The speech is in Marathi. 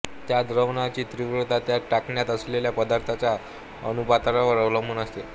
त्या द्रावणाची तीव्रता त्यात टाकण्यात आलेल्या पदार्थांच्या अनुपातावर अवलंबून असते